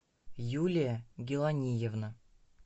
юлия гиланиевна